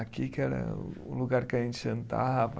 Aqui que era o lugar que a gente jantava.